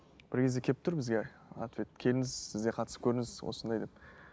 бір кезде келіп тұр бізге ответ келіңіз сіз де қатысып көріңіз осындай деп